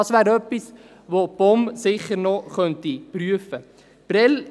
Das wäre etwas, das die POM sicher noch prüfen könnte.